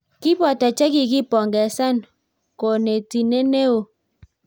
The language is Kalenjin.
Kiboto che ki kikipongezan konetinte ne oo.